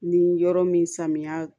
Ni yɔrɔ min samiya